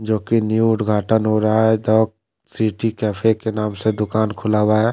जो की न्यू उद्घाटन हुआ है द सिटी कैफे के नाम से दुकान खुला हुआ है।